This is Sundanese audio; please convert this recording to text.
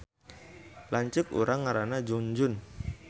Lanceuk urang ngaranna Junjun